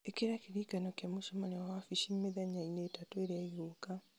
ĩkĩra kĩririkano kĩa mũcemanio wa wabici mĩthenya-inĩ ĩtatũ ĩrĩa ĩgũũka